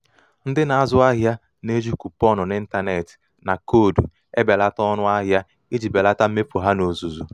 ndị na-azụ ahịa na-eji kuponụ n'ịntanetị na koodu ebelata ọnụ ahịa iji belata mmefu ha n'ozuzu